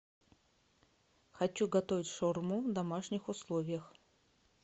хочу готовить шаурму в домашних условиях